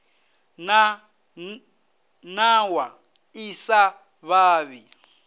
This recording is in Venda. na nawa ḓi sa vhavhi